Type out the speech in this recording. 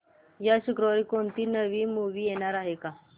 या शुक्रवारी कोणती नवी मूवी येणार आहे का